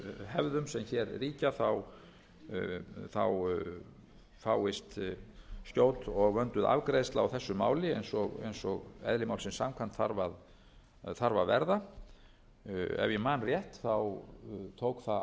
hefðum sem hér ríkja fáist skjót og vönduð afgreiðsla á þessu máli eins og eðli málsins samkvæmt þarf að verða ef ég man rétt tók það